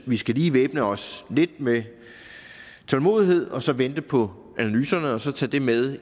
vi skal lige væbne os lidt med tålmodighed og så vente på analyserne og så tage det med